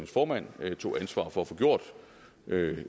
formand tog ansvar for at få gjort da